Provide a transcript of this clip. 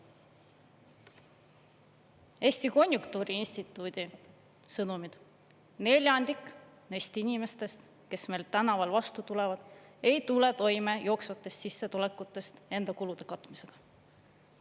Eesti Konjunktuuriinstituudi sõnumid: neljandik neist inimestest, kes meil tänaval vastu tulevad, ei tule toime jooksvatest sissetulekutest enda kulude katmisega.